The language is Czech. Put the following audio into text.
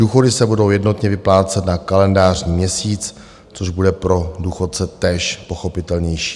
Důchody se budou jednotně vyplácet na kalendářní měsíc, což bude pro důchodce též pochopitelnější.